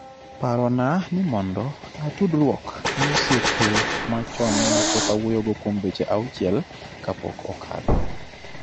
parona mondo atudruok gi osiepe machon ma pok awuoyogo kuom dweche auchiel kapok okadho